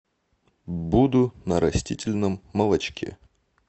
буду на растительном молочке